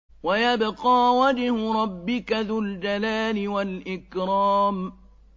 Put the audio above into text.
وَيَبْقَىٰ وَجْهُ رَبِّكَ ذُو الْجَلَالِ وَالْإِكْرَامِ